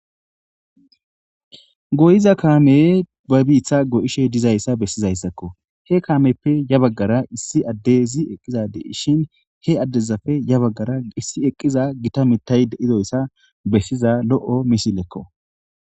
goyiza kaame ba biitha go7ishe dizayssa bessizayssakko he kaameppe ya baggara issi addezi eqqiza deishin he addezafe ya baggara issi eqqiza gita mitay deidoyssa bessiza lo7o misilekko